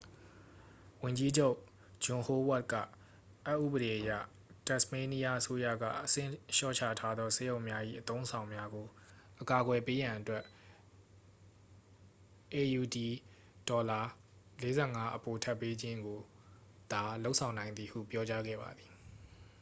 ဝန်ကြီးချုပ် ဂျွန်ဟိုးဝါ့တ် က အက်ဥပဒေအရ တက်စ်မေးနီးယားအစိုးရက အဆင့်လျှော့ချထားသောဆေးရုံများ၏ အသုံးအဆောင်များကို အကာအကွယ်ပေးရန်အတွက် aud$၄၅ အပိုထပ်ပေးခြင်းကိုသာ လုပ်ဆောင်နိုင်သည်ဟု ပြောကြားခဲ့ပါသည်။